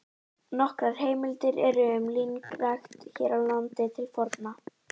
Nokkrar heimildir eru um línrækt hér á landi til forna.